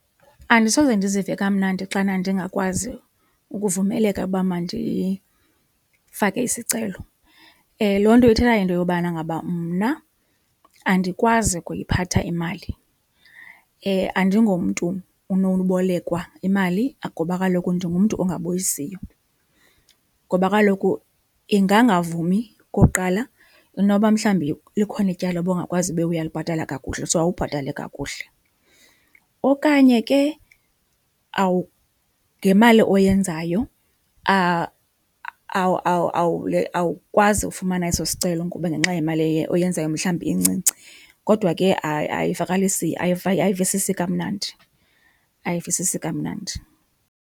Andisoze ndizive kamnandi xana ndingakwazi ukuvumeleka uba mandifake isicelo. Loo nto ithetha into yobana ngaba mna andikwazi ukuyiphatha imali, andingomntu unowubolekwa imali ngoba kaloku ndingumntu ongabuyisiyo. Ngoba kaloku ingangavumi okokuqala inoba mhlawumbi likhona ityala ubungakwazi ube uyalibhatala kakuhle, so awubhatali kakuhle. Okanye ke ngemali oyenzayo awukwazi ufumana eso sicelo ngoba ngenxa yemali oyenzayo mhlawumbi incinci kodwa ke ayivakalisi, ayivisisi kamnandi, ayivisisi kamnandi.